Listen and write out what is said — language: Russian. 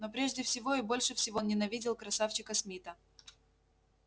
но прежде всего и больше всего он ненавидел красавчика смита